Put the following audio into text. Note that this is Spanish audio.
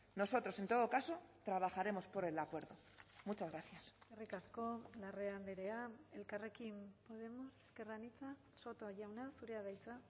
nosotros en todo caso trabajaremos por el acuerdo muchas gracias eskerrik asko larrea andrea elkarrekin podemos ezker anitza soto jauna zurea da hitza